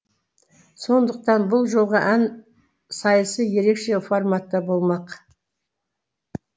сондықтан бұл жолғы ән сайысы ерекше форматта болмақ